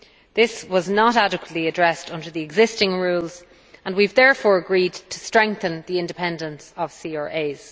This was not adequately addressed under the existing rules and we have therefore agreed to strengthen the independence of CRAs.